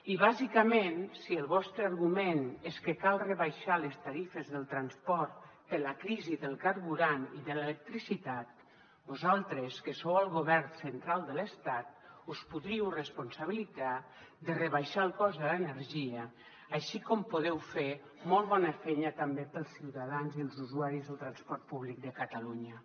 i bàsicament si el vostre argument és que cal rebaixar les tarifes del transport per la crisi del carburant i de l’electricitat vosaltres que sou al govern central de l’estat us podríeu responsabilitzar de rebaixar el cost de l’energia així com podeu fer molt bona feina també per als ciutadans i els usuaris del transport públic de catalunya